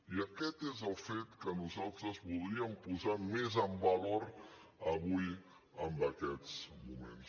i aquest és el fet que nosaltres voldríem posar més en valor avui en aquests moments